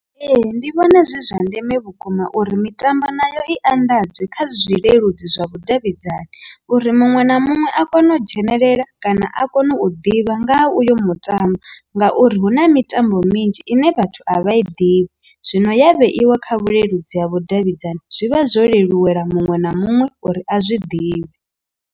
Ee, ndi vhona zwi zwa ndeme vhukuma uri mitambo nayo i anḓadzwe kha zwileludzi zwa vhudavhidzani uri muṅwe na muṅwe a kone u dzhenelela kana a kone u ḓivha nga ha uyo mutambo, ngauri hu na mitambo minzhi ine vhathu a vha i ḓivhi zwino ya vheiwa kha vhuleludzi ha vhudavhidzani zwivha zwo leluwa muṅwe na muṅwe uri a zwi ḓivhe.